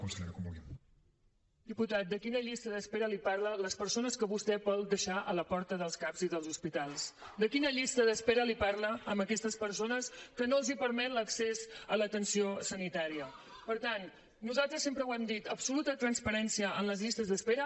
diputat de quina llista d’espera els parla a les persones que vostè vol deixar a la porta dels cap i dels hospitals parla a aquestes persones que no els permet l’accés a l’atenció sanitària per tant nosaltres sempre ho hem dit absoluta transparència en les llistes d’espera